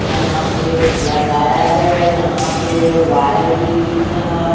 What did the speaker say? यहां पे लगाया गया यहां पे वायर भी दिख रहा है।